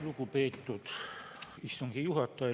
Lugupeetud istungi juhataja!